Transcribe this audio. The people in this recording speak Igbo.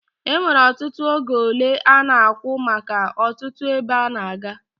Enwere ọtụtụ ego ole ana akwụ maka ọtụtụ ebe a na-aga